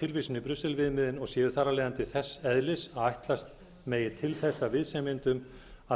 tilvísun í brussel viðmiðin og séu þar af leiðandi þess eðlis að ætlast megi til þess af viðsemjendum